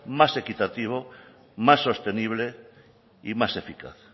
más equitativo más sostenible y más eficaz